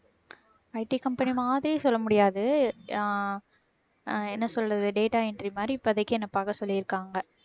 IT company மாதிரி சொல்ல முடியாது. அஹ் அஹ் என்ன சொல்றது data entry மாதிரி இப்போதைக்கு என்னை பார்க்க சொல்லியிருக்காங்க.